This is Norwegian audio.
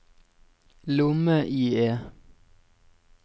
lomme-IE